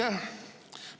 Aitäh!